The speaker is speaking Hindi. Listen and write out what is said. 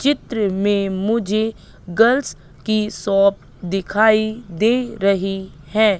चित्र में मुझे गर्ल्स की शॉप दिखाई दे रही है।